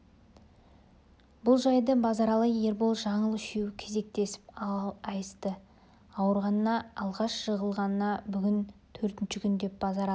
бұл жайды базаралы ербол жаңыл үшеуі кезектеп айтысты ауырғанына алғаш жығылғанына бүгін төртінші күн деп базаралы